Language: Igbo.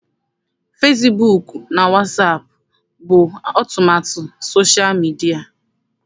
Fesibuuku na wasaapụ bụ ọmụmaatụ sosha midia.